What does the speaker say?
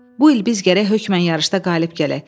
Bu il biz gərək hökmən yarışda qalib gələk.